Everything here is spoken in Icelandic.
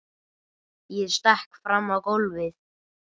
Ég stekk fram á gólfið.